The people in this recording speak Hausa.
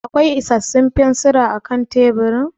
Akwai isarsun fensira a kan teburin?